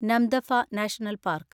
Namdapha national park